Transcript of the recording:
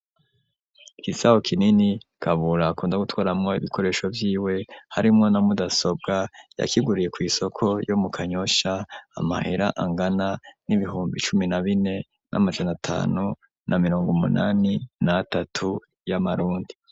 Igisaho kinini Kabura akunda gutwaramwo ibikoresho vyiwe harimwo na mudasobwa yakiguriye kw'isoko yo mu kanyosha amahera angana n'ibihumbi cumi na bine n'amajana tanu na mirongo munani na tatu y'amarundi.